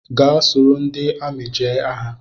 Gaa soro ndị amị jee agha!